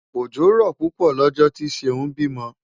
Òjò rọ̀ púpọ̀ lọ́jọ́ tí Ṣeún bímọ.